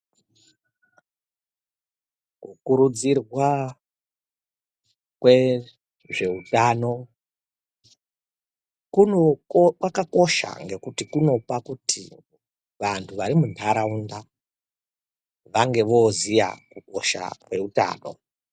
Ku kurudzirwa kwe zveutano kuno kwaka kosha ngekuti kunopa kuti vantu vari mundaraunda vange voziya hosha ne utano.